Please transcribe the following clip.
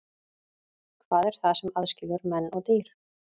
Hvað er það sem aðskilur menn og dýr?